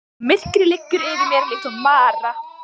Og myrkrið liggur yfir mér líkt og mara.